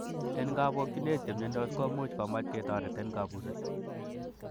En kobokionet, chemiondos komuch komach ketoret en kabuset.